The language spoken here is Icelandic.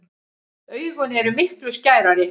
Augun eru miklu skærari.